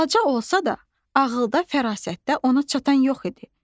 Balaca olsa da, ağılda, fərasətdə ona çatan yox idi.